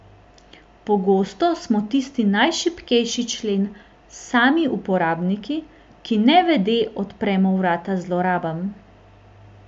Pogosto smo tisti najšibkejši člen sami uporabniki, ki nevede odpremo vrata zlorabam.